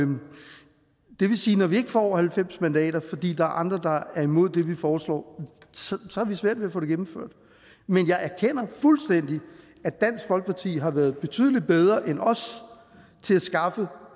det vil sige at når vi ikke får halvfems mandater fordi der er andre der er imod det vi foreslår har vi svært ved at få det gennemført men jeg erkender fuldstændig at dansk folkeparti har været betydelig bedre end os til at skaffe